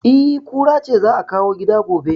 E, kura ce za a kawo gida gobe